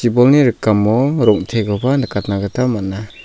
bolni rikamo rong·tekoba nikatna gita man·a.